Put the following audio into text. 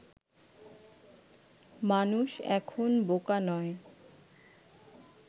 মানুষ এখন বোকা নয়